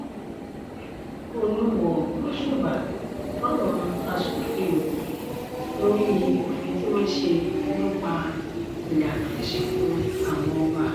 olùwọ́ọ́ gbóṣùbà fáwọn aṣòfin ogun lórí òfin tí wọ́n ṣe nípa ìlànà ìsìnkú àwọn ọba